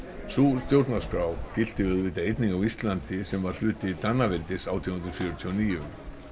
sú stjórnarskrá gilti auðvitað einnig á Íslandi sem var hluti Danaveldis átján hundruð fjörutíu og níu